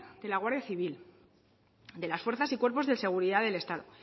de la guardia civil de las fuerzas y cuerpos de seguridad del estado